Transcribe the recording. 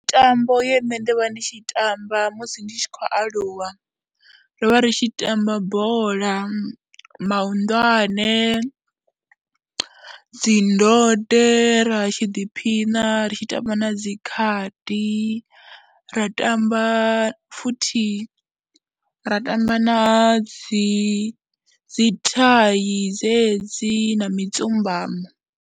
Mitambo ye nṋe nda vha ndi tshi tamba musi ndi tshi khou aluwa, ro vha ri tshi tamba bola, mahunḓwane, dzi ndode, ra tshi ḓiphina ri tshi tamba na dzi khadi, ra tamba futhi, ra tamba na dzi dzi thai dzedzi na mitsimbano.